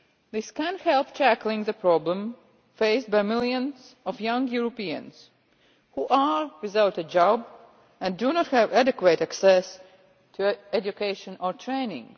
This can help to tackle the problem faced by the millions of young Europeans who are without a job and who do not have adequate access to education or training.